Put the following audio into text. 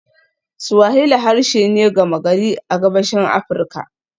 Swahili harshe ne gama gari a Gabashin Afirka.